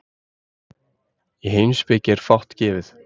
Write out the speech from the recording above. Í heimspeki er fátt gefið.